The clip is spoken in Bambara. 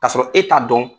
K'a sɔrɔ e t'a dɔn